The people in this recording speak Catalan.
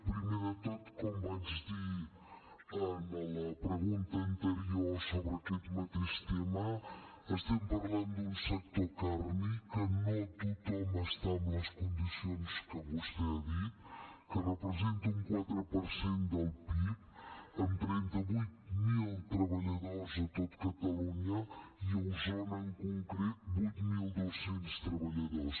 primer de tot com vaig dir en la pregunta anterior sobre aquest mateix tema estem parlant d’un sector càrnic en què no tothom hi està amb les condicions que vostè ha dit que representa un quatre per cent del pib amb trenta vuit mil treballadors a tot catalunya i a osona en concret vuit mil dos cents treballadors